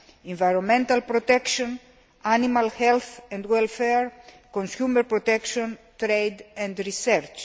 environmental protection, animal health and welfare, consumer protection, trade and research.